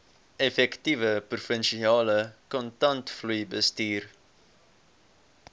effektiewe provinsiale kontantvloeibestuur